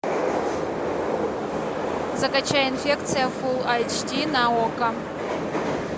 закачай инфекция фулл айч ди на окко